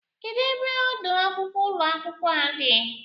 Kedụ ebe ọdọ akwụkwọ ụlọ akwụkwọ a dị?